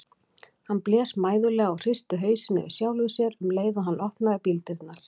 Hann blés mæðulega og hristi hausinn yfir sjálfum sér um leið og hann opnaði bíldyrnar.